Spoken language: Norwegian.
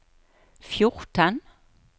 fjorten